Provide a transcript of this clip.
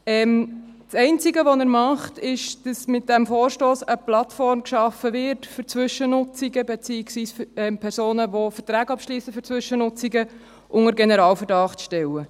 Das einzige, was er macht, ist, dass mit diesem Vorstoss eine Plattform geschaffen wird, um Zwischennutzungen beziehungsweise um Personen, die Verträge für Zwischennutzungen abschliessen, unter Generalverdacht zu stellen.